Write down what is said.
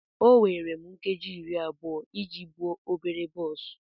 O were m nkeji iri abụọ iji buo obere bọs.